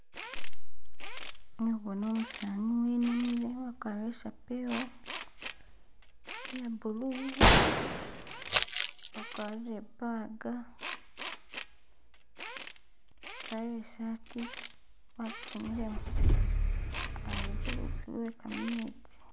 Ndi khubona umusani wenamile wakwarire isapewo iye blue, akwarire i'bag, akwarire isaati wakifunyilemo ali khulutsi lwe kametsi